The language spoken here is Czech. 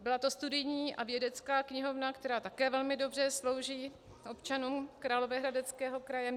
Byla to studijní a vědecká knihovna, která také velmi dobře slouží občanům Královéhradeckého kraje.